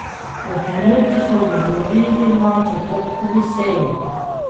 O ponudbi so govorili na četrtkovi seji.